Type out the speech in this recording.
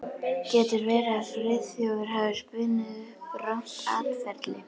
Getur verið að Friðþjófur hafi spunnið upp rangt atferli?